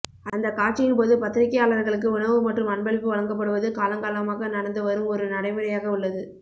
அந்த காட்சியின்போது பத்திரிகையாளர்களுக்கு உணவு மற்றும் அன்பளிப்பு வழங்கப்படுவது காலங்காலமாக நடந்து வரும் ஒரு நடைமுறையாக உள்ளது